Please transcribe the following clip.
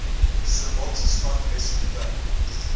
sir walter scott rescued the